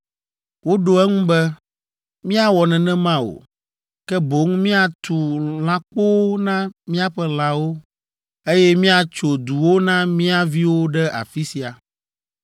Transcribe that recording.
Woɖo eŋu be, “Míawɔ nenema o, ke boŋ míatu lãkpowo na míaƒe lãwo, eye míatso duwo na mía viwo ɖe afi sia.